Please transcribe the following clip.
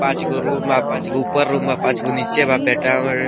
पांचगो रूम बा पांचगो ऊपर रूम बा पांचगो नीचे बा